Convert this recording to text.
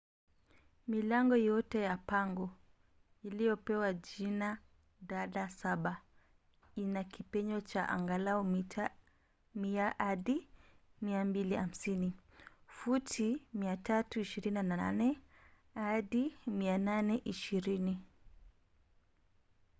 milango yote ya pango iliyopewa jina dada saba ina kipenyo cha angalau mita 100 hadi 250 futi 328 hadi 820